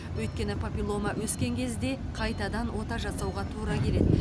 өйткені папиллома өскен кезде қайтадан ота жасауға тура келеді